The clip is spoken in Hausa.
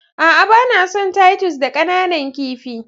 A'a, ba na son titus da ƙananan kifi.